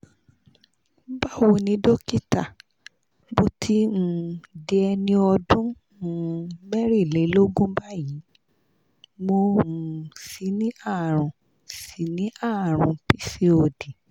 bawo nì dókítà mo ti um di eni ọdún um mẹ́rìnlélógún báyìí mo um sì ní àrùn sì ní àrùn pcod